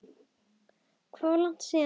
Það var langt síðan.